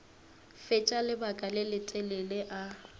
fetša lebaka le letelele a